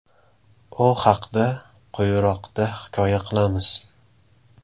U haqda quyiroqda hikoya qilamiz.